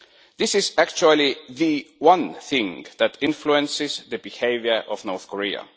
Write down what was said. This is the one thing that influences the behaviour of North Korea.